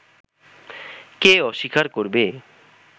কে অস্বীকার করবে